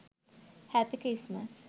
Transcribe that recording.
happy christmas